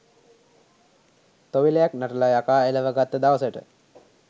තොවිලයක් නටල යකා එලවගත්ත දවසට